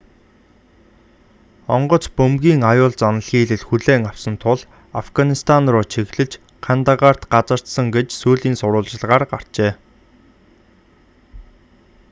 онгоц бөмбөгийн аюул заналхийлэл хүлээн авсан тул афганистан руу чиглэж кандагарт газардсан гэж сүүлийн сурвалжилгаар гарчээ